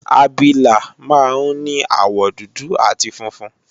Abilà máa ń ní àwọ̀ dúdú àti funfun